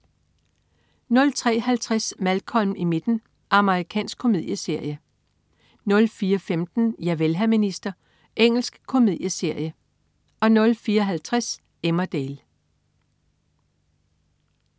03.50 Malcolm i midten. Amerikansk komedieserie 04.15 Javel, hr. minister. Engelsk komedieserie 04.50 Emmerdale